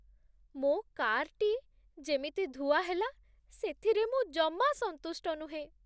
ମୋ କାର୍‌ଟି ଯେମିତି ଧୁଆ ହେଲା, ସେଥିରେ ମୁଁ ଜମା ସନ୍ତୁଷ୍ଟ ନୁହେଁ।